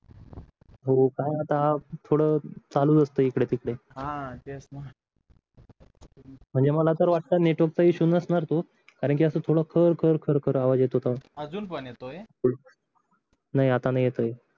होका आता थोड चालूच असत इकडे तिकडे म्हणजे मला तर वाटतं नेटवर्क इशू नसणार तो कारण थोडा खरं खरं खरं खरं आव्वाज येत होता नाही आता नाही येतोय